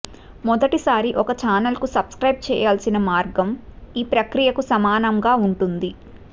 మొదటి సారి ఒక ఛానెల్కు సబ్స్క్రైబ్ చేయాల్సిన మార్గం ఈ ప్రక్రియకు సమానంగా ఉంటుంది